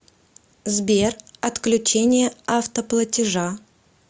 сбер отключение автоплатежа